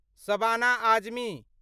Shabana Azmi